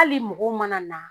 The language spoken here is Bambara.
Hali mɔgɔ mana na